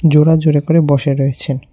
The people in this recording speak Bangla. জোড়া জোড়া করে বসে রয়েছেন।